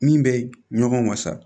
Min bɛ ɲɔgɔn wasa